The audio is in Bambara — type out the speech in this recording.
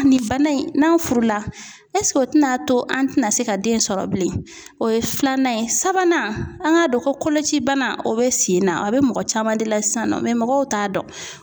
Nin bana in n'a furu la o tɛna to an tɛna se ka den sɔrɔ bilen o ye filanan ye sabanan an k'a dɔn koloci bana o bɛ sen na a bɛ mɔgɔ caman de la sisan nɔ mɔgɔw t'a dɔn.